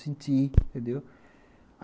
Senti, entendeu?